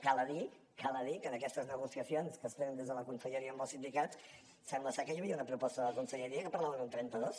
val a dir val a dir que en aquestes negociacions que es tenen des de la conselleria amb els sindicats sembla ser que hi havia una proposta de la conselleria que parlava d’un trenta dos